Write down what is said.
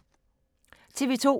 TV 2